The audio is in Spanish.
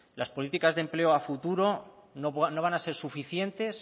las políticas de empleo a futuro no van a ser suficientes